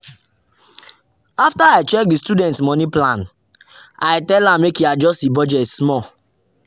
after i check the student money plan i tell am make e adjust e budget small.